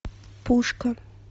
пушка